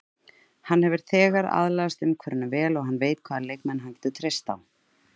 Hann hefur þegar aðlagast umhverfinu vel og hann veit hvaða leikmenn hann getur treyst á.